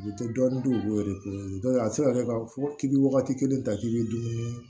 U tɛ dɔɔnin dun yɛrɛ k'u ye dɔnku tɛ a tɛ se ka kɛ k'a fɔ k'i bɛ wagati kelen ta k'i bɛ dumuni